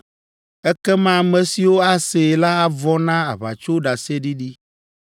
“Ekema ame siwo asee la avɔ̃ na aʋatsoɖaseɖiɖi.